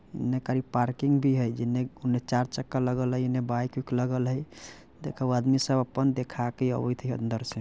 एने कारी पार्किंग भी हई जेने उने चारचक्का लगल हई एने बाइक उईक लगल हई देखअ उ आदमी सब अपन देखा के आवैत हई अंदर से--